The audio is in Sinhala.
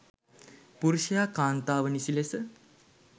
පුරුෂයා කාන්තාව නිසි ලෙස